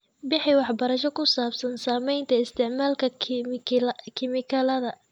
Bixi waxbarasho ku saabsan saamaynta isticmaalka kiimikada.